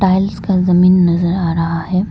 Tiles का जमीन नजर आ रहा है।